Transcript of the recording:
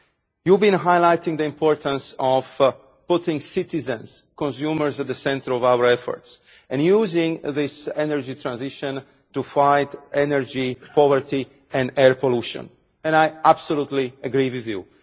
You have been highlighting the importance of putting citizens as consumers at the centre of our efforts and using this energy transition to fight energy poverty and air pollution, and I absolutely agree with you.